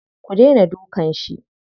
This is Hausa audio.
Ku daina dukan shi.